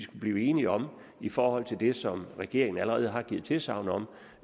blive enige om i forhold til det som regeringen allerede har givet tilsagn om